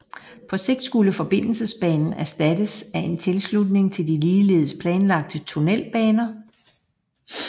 På sigt skulle forbindelsesbanen erstattes af en tilslutning til de ligeledes planlagte tunnelbaner